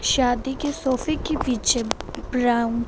शादी के सोफे की पीछे ब्राउन --